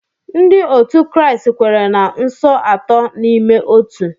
Ndị otu Kraịst kwere na Nso Atọ n’Ime Otu.